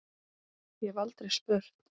Ég hef aldrei spurt.